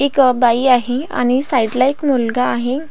एक बाई आहे आणि एक साइड ला मुलगा आहे.